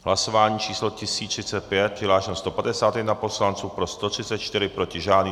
Hlasování číslo 1035, přihlášeno 151 poslanců, pro 134, proti žádný.